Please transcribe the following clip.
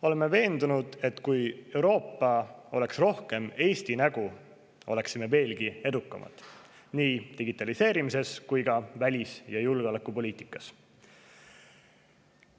Oleme veendunud, et kui Euroopa oleks rohkem Eesti nägu, siis oleksime veelgi edukamad nii digitaliseerimises kui ka välis‑ ja julgeolekupoliitikas.